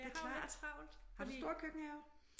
Det er klart har du stor køkkenhave?